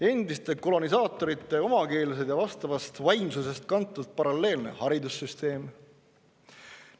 Endiste kolonisaatorite omakeelsed ja vastavast vaimsusest kantud paralleelne haridussüsteem.